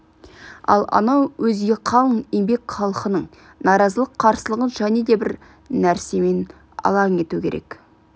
ал анау өзге қалың еңбек халқының наразылық қарсылығын және де бір нәрсемен алаң ету керек